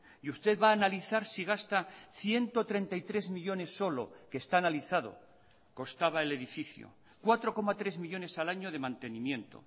y usted va a analizar si gasta ciento treinta y tres millónes solo que está analizado costaba el edificio cuatro coma tres millónes al año de mantenimiento